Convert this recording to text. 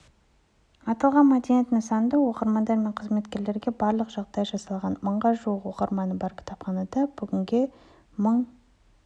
аталған мәдениет нысанында оқырмандар мен қызметкерлерге барлық жағдай жасалған мыңға жуық оқырманы бар кітапханада бүгінде мың